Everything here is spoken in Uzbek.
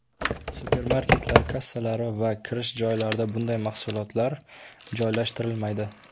Supermarketlar kassalari va kirish joylarida bunday mahsulotlar joylashtirilmaydi.